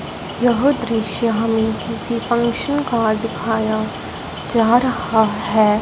यह दृश्य हमें किसी फंक्शन का दिखाया जा रहा है।